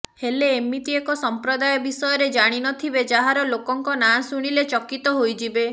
ହେଲେ ଏମିତି ଏକ ସଂପ୍ରଦାୟ ବିଷୟରେ ଜାଣିନଥିବେ ଯାହାର ଲୋକଙ୍କ ନାଁ ଶୁଣିଲେ ଚକିତ ହୋଇଯିବେ